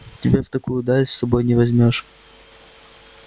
тебе в такую даль с собой не возьмёшь